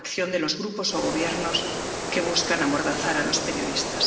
a la coacción de los grupos o gobiernos que buscan amordazar a los periodistas.